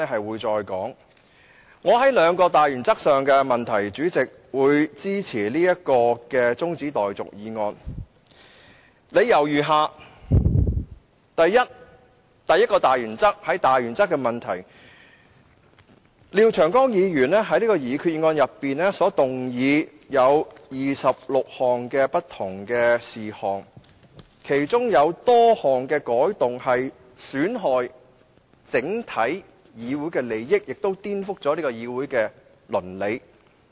為支持此項中止待續議案，我提出兩個大原則的問題如下：第一個大原則的問題是，廖長江議員在擬議決議案動議26項不同的修訂建議，其中多項損害整體議會的利益，亦顛覆議會的倫理。